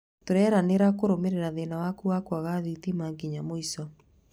Tũreranĩra kurũmirĩra thĩna waku wa kwaga thitima nginya mũico.